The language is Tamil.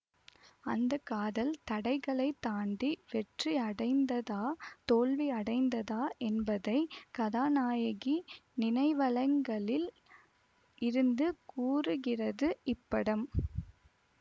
அந்த காதல் தடைகளைத் தாண்டி வெற்றியடைந்ததா தோல்வியடைந்ததா என்பதை கதாநாயகி நினைவலங்களில் இருந்து கூறுகிறது இப்படம்